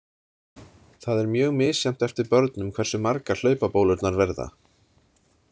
Það er mjög misjafnt eftir börnum hversu margar hlaupabólurnar verða.